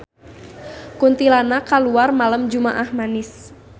Kuntilanak kaluar malem jumaah Manis